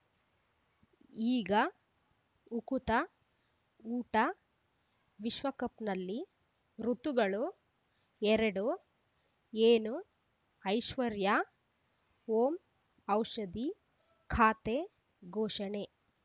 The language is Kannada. ಈಗ ಉಕುತ ಊಟ ವಿಶ್ವಕಪ್‌ನಲ್ಲಿ ಋತುಗಳು ಎರಡು ಏನು ಐಶ್ವರ್ಯಾ ಓಂ ಔಷಧಿ ಖಾತೆ ಘೋಷಣೆ